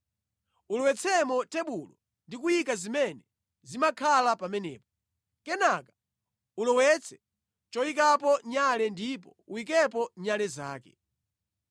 Ulowetsemo tebulo ndi kuyika zimene zimakhala pamenepo. Kenaka ulowetse choyikapo nyale ndipo uyikepo nyale zake.